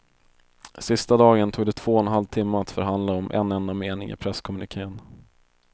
Sista dagen tog det två och en halv timme att förhandla om en enda mening i presskommuniken.